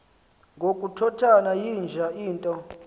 ngokukhothana yinja into